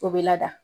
O bɛ lada